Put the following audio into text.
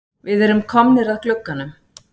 Við erum komnir að glugganum.